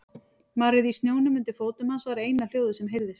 Marrið í snjónum undir fótum hans var eina hljóðið sem heyrðist.